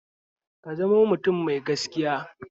Ka zamo mutum mai gaskiya